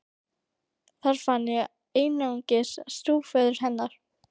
Þar fann ég einungis stjúpföður hennar.